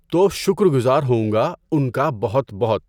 تو شُکر گزار ہوں گا اُن کا بہت بہت۔